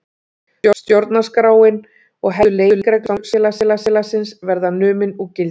Stjórnarskráin og helstu leikreglur samfélagsins verða numin úr gildi